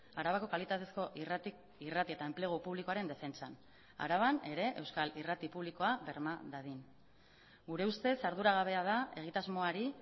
arabako kalitatezko irrati eta enplegu publikoaren defentsan araban ere euskal irrati publikoa berma dadin gure ustez arduragabea da egitasmoari